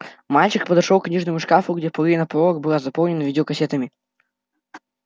мальчик подошёл к книжному шкафу где половина полок была заполнена видеокассетами